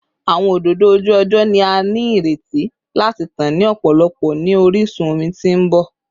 Awọn ododo oju-ọjọ ni a nireti lati tan ni ọpọlọpọ ni orisun omi ti n bọ